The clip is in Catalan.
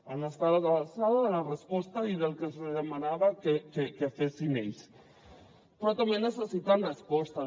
han estat a l’alçada de la resposta i del que se’ls demanava que fessin ells però també necessiten respostes